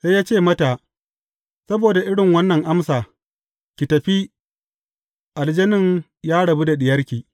Sai ya ce mata, Saboda irin wannan amsa, ki tafi, aljanin ya rabu da diyarki.